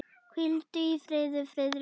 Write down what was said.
Hvíldu í friði, Friðrik minn.